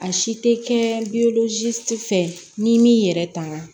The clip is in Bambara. A si tɛ kɛ fɛ n'i m'i yɛrɛ tanga